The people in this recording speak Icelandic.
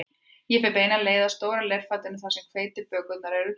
Ég fer beina leið að stóra leirfatinu þar sem hveitiflatbökurnar eru geymdar